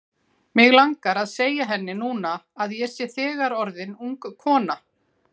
Mig langar að segja henni núna að ég sé þegar orðin ung kona.